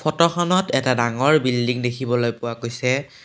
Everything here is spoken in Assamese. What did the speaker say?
ফটোখনত এটা ডাঙৰ বিল্ডিং দেখিব পৰা গৈছে।